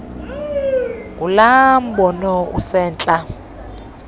ngulaa mbono usentla